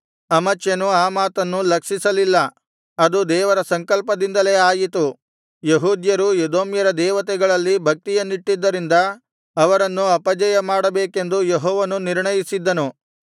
ಅಮಚ್ಯನು ಆ ಮಾತನ್ನು ಲಕ್ಷಿಸಲಿಲ್ಲ ಅದು ದೇವರ ಸಂಕಲ್ಪದಿಂದಲೇ ಆಯಿತು ಯೆಹೂದ್ಯರು ಎದೋಮ್ಯರ ದೇವತೆಗಳಲ್ಲಿ ಭಕ್ತಿಯನ್ನಿಟ್ಟದ್ದರಿಂದ ಅವರನ್ನು ಅಪಜಯ ಮಾಡಬೇಕೆಂದು ಯೆಹೋವನು ನಿರ್ಣಯಿಸಿದ್ದನು